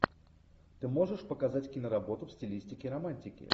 ты можешь показать киноработу в стилистике романтики